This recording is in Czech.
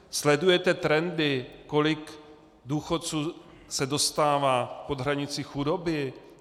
Sledujete trendy, kolik důchodců se dostává pod hranici chudoby?